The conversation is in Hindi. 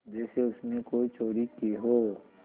जैसे उसने कोई चोरी की हो